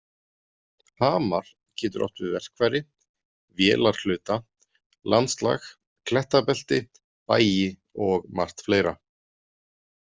Hamar getur átt við verkfæri, vélarhluta, landslag, klettabelti, bæi og margt fleira.